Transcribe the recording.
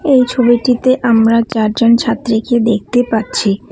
এই ছবিটিতে আমরা চারজন ছাত্রীকে দেখতে পাচ্ছি।